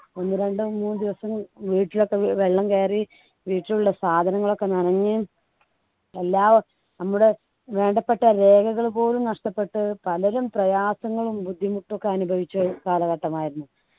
ഒന്ന് രണ്ടു മൂന്നു ദിവസം വീട്ടിലൊക്കെ വെള്ളം കയറി വീട്ടിലുള്ള സാധനങ്ങളൊക്കെ നനഞ്ഞു എല്ലാം നമ്മുടെ വേണ്ടപ്പെട്ട രേഖകൾ പോലും നഷ്ട്ടപ്പെട്ട് പലരും പ്രയാസങ്ങളും ബുദ്ധിമുട്ടുഒക്കെ അനുഭവിച്ച ഒരു കാലഘട്ടമായിരുന്നു